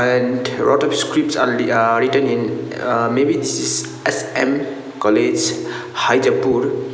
and ah written in ah may be this is S_M college hajipur.